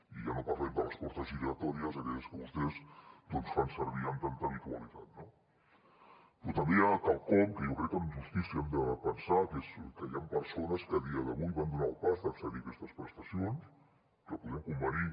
i ja no parlem de les portes giratòries aquelles que vostès doncs fan servir amb tanta habitualitat no però també hi ha quelcom que jo crec que amb justícia hem de pensar que és que hi han persones que a dia d’avui van donar el pas d’accedir a aquestes prestacions que podem convenir